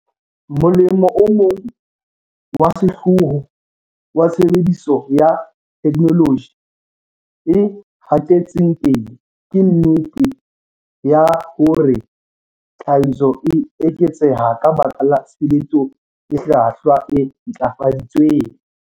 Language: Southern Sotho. Molemo o mong wa sehlooho wa tshebediso ya theknoloji e hatetseng pele ke nnete yah ore tlhahiso e eketseha ka baka la tshebetso e hlwahlwa, e ntlafaditsweng.